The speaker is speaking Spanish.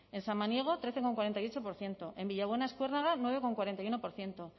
en samaniego trece coma cuarenta y ocho por ciento en villabuena eskuernaga nueve coma cuarenta y uno por ciento